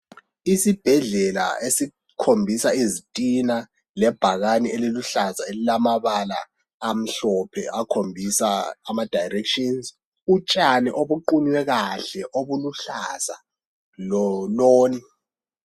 Isibhedlela esikhombisa izitina lebhakane eluhlaza elilamabala amhlophe akhombisa ama 'directions' utshani obuqunywe kahle obuluhlaza lo loni.